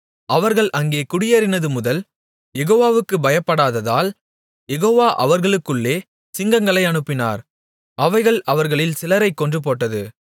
அவர்கள் அங்கே குடியேறினது முதல் யெகோவாவுக்குப் பயப்படாததால் யெகோவா அவர்களுக்குள்ளே சிங்கங்களை அனுப்பினார் அவைகள் அவர்களில் சிலரைக் கொன்றுபோட்டது